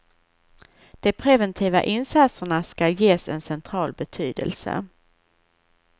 De preventiva insatserna ska ges en central betydelse.